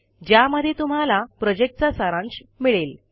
ज्यामध्ये तुम्हाला प्रॉजेक्टचा सारांश मिळेल